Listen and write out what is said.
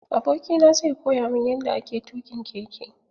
Aboki na zai koya mun yanda ake tuƙin keke.